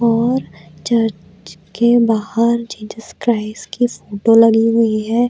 और चर्च के बाहर जीसस क्राइस्ट की फोटो लगी हुई हैं।